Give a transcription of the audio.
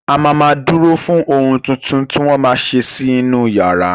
A ma ma dúró fún ohun tuntun tí wọ́n ma ṣe sí inú yàrá